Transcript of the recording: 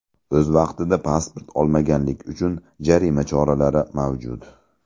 O‘z vaqtida pasport olmaganlik uchun jarima choralari mavjud.